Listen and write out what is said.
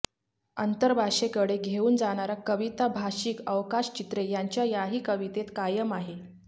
अंतर्भाषेकडे घेऊन जाणारा कविताभाषिक अवकाश चित्रे यांच्या याही कवितेत कायम आहे